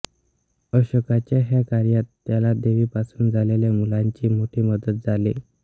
अशोकाच्या ह्या कार्यात त्याला देवीपासून झालेल्या मुलांची मोठी मदत झाली